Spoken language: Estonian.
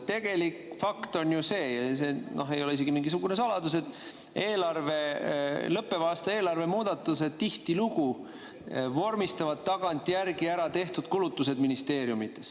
Tegelik fakt on ju see – see ei ole mingisugune saladus –, et lõppeva aasta eelarve muudatustega tihtilugu vormistatakse tagantjärgi ministeeriumides juba tehtud kulutused.